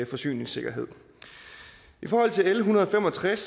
forsyningssikkerhed i forhold til l en hundrede og fem og tres